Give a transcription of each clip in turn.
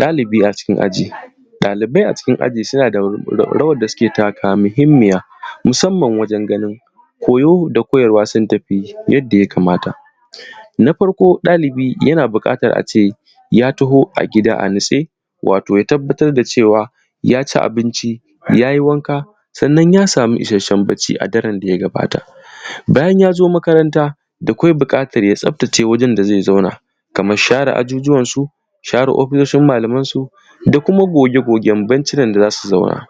ɗalibi a cikin aji ɗalibai a cikin aji suna da rawan da suke taka wa muhimmiya musamman wajan ganin koyo da koyarwa sun tafiyu yadda ya kamata na farko ɗalibi yana buƙatan a ce ya taho a gida a natse wato ya tabbatar da cewa ya ci abinci ya yi wanka sannan ya samu isasshen bacci a daren da ya gabata bayan ya zo makaranta da kwai buƙatan ya tsaftace wurin da zai zauna kaman share ajujjuwan su share ofishoshin malamansu da kuma goge gogen bancunan da za su zauna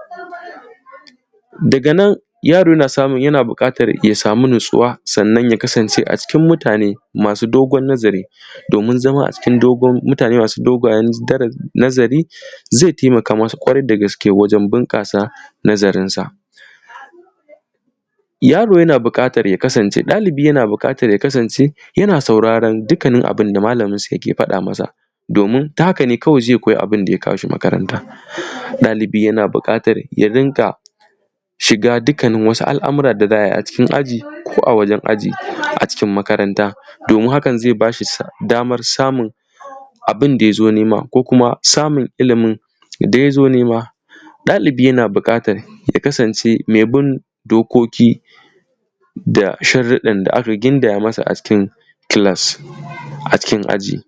daga nan yaro yana buƙatan ya samu natsuwa sannan ya kasance a cikin mutane masu dogon nazari domin zama a cikin mutane masu dogon nazari zai taimaka mai da gaske wajen bunƙasa nazarinsa yaro yana buƙatan ya kasance ɗalibi yana buƙatan ya kasance yana sauraran dukkanin abun da malaminsa ya ke faɗa masa domin ta haka ne kawai zai koyi abun da ya kawo shi makaranta ɗalibi yana buƙatan ya rinƙa shiga dukkannin wasu al’amuran da za a yi a cikin aji ko a wajan aji a cikin makaranta domin haka zai ba shi daman samun abun da ya zo nema ɗalibi yana buƙatan ya kasance mai bin dokoki da sharaɗan da aka gindaya masa a cikin class a cikin aji